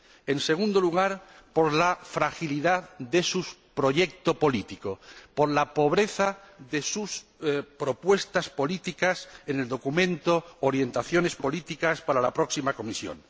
En segundo lugar, por la fragilidad de su proyecto político, por la pobreza de sus propuestas políticas en el documento Orientaciones políticas para la próxima Comisión.